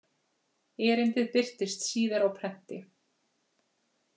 Erindið birtist síðar á prenti.